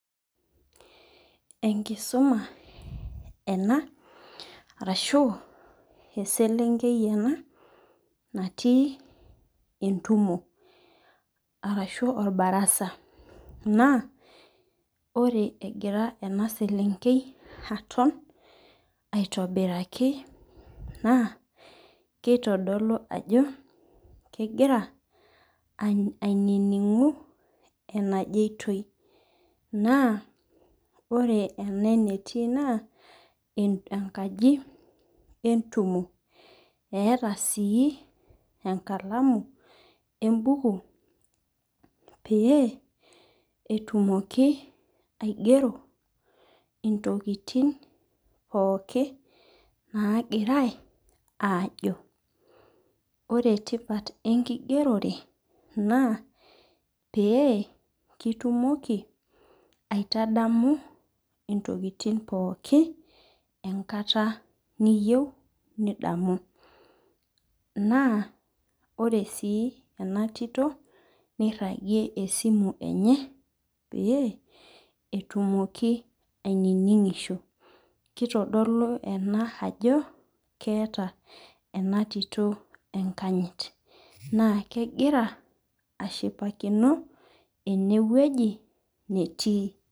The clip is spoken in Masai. Enkusuma ena arashu eselenkei ena natui entumo arashu orbarasa na ore egira enaselenkei aton aitobiraki na kitadolu ajo kegira ainingi enajoitoi ore enetii na enkaji entumo eeta si enkalamu embuku petumoki aigero ntokitin pookin nagirai ajo ore tipat enkigerote na pitumoki aitadamu intokitin pooki enkata niyieu nidamu na ore si ena tito niragie enasimu enye petumoki aininingisho kitodolu ena ajo keeta enatito enkanyit na kegira ashipakino enewueji netii.